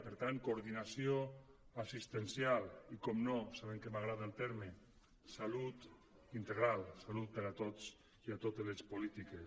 per tant coordinació assistencial i evidentment sabent que m’agrada el terme salut integral salut per a tots i a totes les polítiques